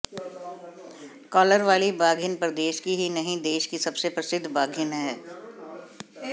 caller वाली बाघिन प्रदेश की ही नहीं देश की सबसे प्रसिद्ध बाघिन है